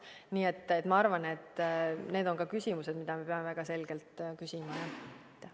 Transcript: Nii et ma arvan, et need on ka küsimused, mida me peame väga selgelt küsima, jah.